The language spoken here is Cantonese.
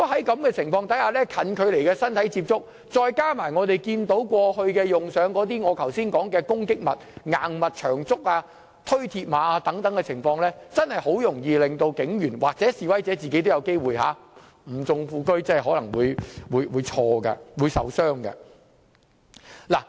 在示威中近距離的身體接觸，加上我剛才提及的攻擊物和推鐵馬等行為，真的很容易令警員受傷，示威者本身亦有機會因為誤中副車而受傷。